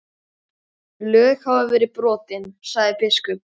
Lög hafa verið brotin, sagði biskup.